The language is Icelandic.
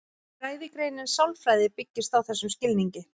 Fræðigreinin sálfræði byggist á þessum skilningi.